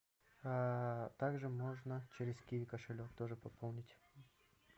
также можно через киви кошелек также пополнить